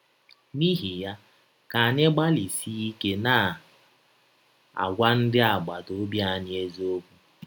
N’ihi ya, ka anyị gbalịsie ike na - agwa ndị agbata ọbi anyị eziọkwụ.